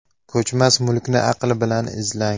Ko‘chmas mulkni aql bilan izlang.